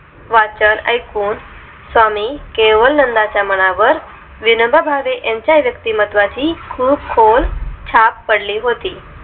वाचन ऐकून स्वामी केवल नंदांच्या मनावर विनोबा भावे यांच्या व्यक्तिमत्त्वा ची खूप खोल छाप पडली होती